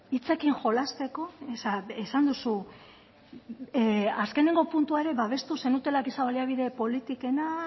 hitzekin jolasteko esan duzu azkeneko puntua ere babestu zenutela giza baliabide politikena